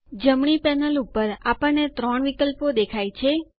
જમણી પેનલ ઉપર આપણને ત્રણ વિકલ્પો દેખાય છે